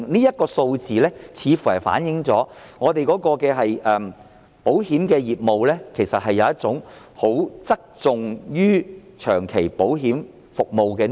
這些數字反映我們的保險業務側重於長期保險服務。